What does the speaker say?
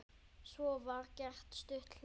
Svo var gert stutt hlé.